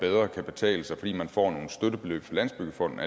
bedre kan betale sig fordi man får nogle støttebeløb fra landsbyggefonden